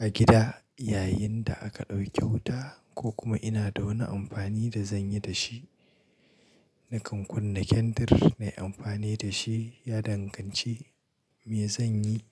a gida yayin da aka ɗauke wuta ko kuma ina da wani amfani da zanyi dashi. Nakan kunna kendir nayi amfani dashi ya danganci me zanyi.